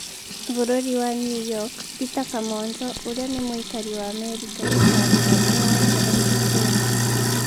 bũrũri wa new york Peter Kamonjo ũria ni mũikari wa Amerika gũcagũrwo e wa mbere mbunge-inĩ